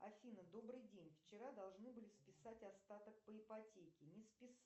афина добрый день вчера должны были списать остаток по ипотеке не списали